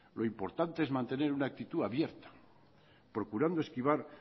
lo importante es mantener una actitud abierta procurando esquivar